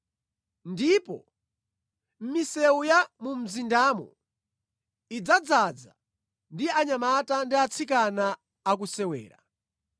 Ndipo misewu ya mu mzindamo idzadzaza ndi anyamata ndi atsikana akusewera.”